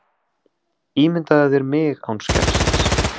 Ímyndaðu þér mig án skeggsins.